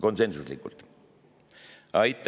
Aitäh!